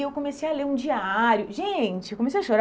Eu comecei a ler um diário, gente eu comecei a chorar